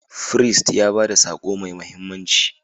Firist ya ba da sako mai mahimmanci.